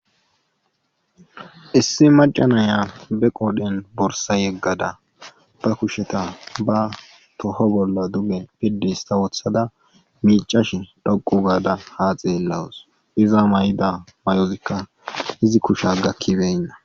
Issi macanaya be qodhen borsa yeggada ba kusheta ba toho bolla duge piddi sta woothada miicashin dhoqu gaada ha xeellawus iza may'ida may'ozikka izi kusha gakkibeynna.